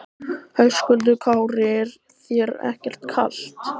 Höskuldur Kári: Er þér ekkert kalt?